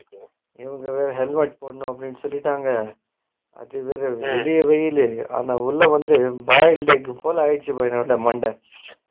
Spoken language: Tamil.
இதுலா helmet போடணும்னு வேற சொல்லிடாங்க அதுவேற வெளில வெயிலு ஆனா உள்ள வந்த boiler மாதிரி ஆகிடிசுபா மண்ட